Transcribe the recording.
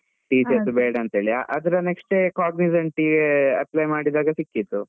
TCS ಬೇಡ ಅಂತ ಹೇಳಿ, ಅದ್ರ next cognizant ಗೆ apply ಮಾಡಿದಾಗ ಸಿಕ್ಕಿತು.